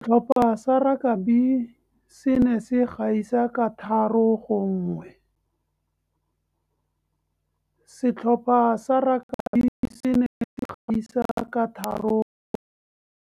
Setlhopha sa rakabii se ne se gaisa ka 3-1.